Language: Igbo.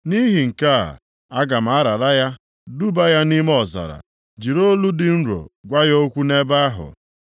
“Nʼihi nke a, aga m arara ya, duba ya nʼime ọzara, jiri olu dị nro gwa ya okwu nʼebe ahụ.